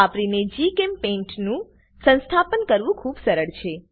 વાપરીને GChemPaintનું સંસ્થાપન કરવું ખુબ સરળ છે